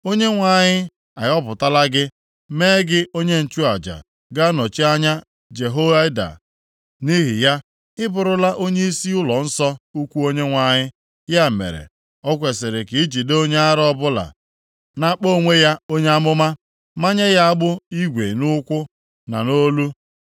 ‘ Onyenwe anyị ahọpụtala gị mee gị onye nchụaja ga-anọchi anya Jehoiada. Nʼihi ya, ị bụrụla onyeisi ụlọnsọ ukwu Onyenwe anyị. Ya mere, o kwesiri ka i jide onye ara ọbụla na-akpọ onwe ya onye amụma, manye ya agbụ igwe nʼụkwụ, na nʼolu ya.